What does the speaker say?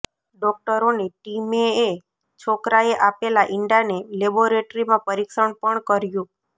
ડોક્ટરોની ટીમેએ છોકરાએ આપેલ ઇંડાને લેબોરેટરીમાં પરીક્ષણ પણ કર્યુ